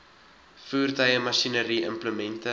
voertuie masjinerie implemente